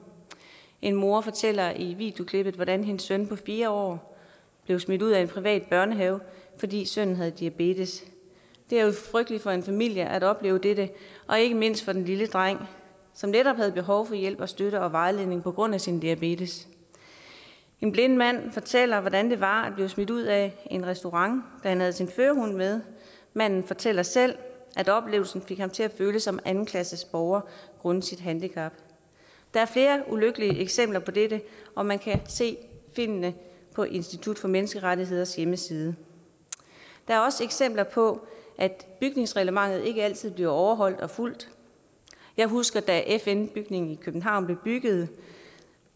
en mor fortæller i videoklippet hvordan hendes søn på fire år blev smidt ud af en privat børnehave fordi sønnen havde diabetes det er jo frygteligt for en familie at opleve dette og ikke mindst for den lille dreng som netop havde behov for hjælp og støtte og vejledning på grund af sin diabetes en blind mand fortæller hvordan det var at blive smidt ud af en restaurant da han havde sin førerhund med manden fortæller selv at oplevelsen fik ham til at føle sig som en andenklasses borger grundet sit handicap der er flere ulykkelige eksempler på dette og man kan se filmene på institut for menneskerettigheders hjemmeside der er også eksempler på at bygningsreglementet ikke altid bliver overholdt og fulgt jeg husker da fn bygningen i københavn blev bygget